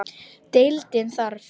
Deildin þarf